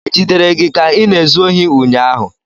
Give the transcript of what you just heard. Ejidere gị ka ị na-ezu ohi ụnyahụ?